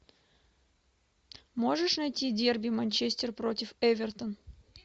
можешь найти дерби манчестер против эвертон